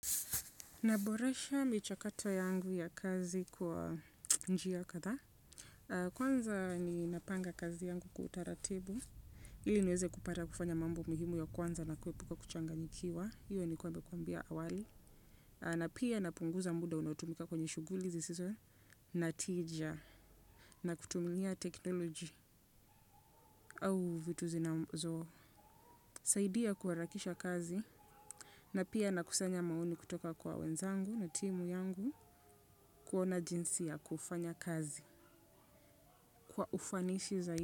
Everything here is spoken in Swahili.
Naboresha michakato yangu ya kazi kwa njia kadha. Kwanza ni napanga kazi yangu kwa utaratibu. Ili nieze kupata kufanya mambo mihimu ya kwanza na kwepuka kuchanga nyikiwa. Hiyo nili kua nimekuambia awali. Na pia napunguza muda unoatumika kwenye shughuli zisizo. Na tija. Na kutumia teknoloji au vitu zinazo. Saidia kuharakisha kazi. Na pia na kusanya maoni kutoka kwa wenzangu na timu yangu kuona jinsi ya kufanya kazi. Kwa ufanishi zaidi.